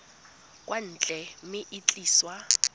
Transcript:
kwa ntle mme e tliswa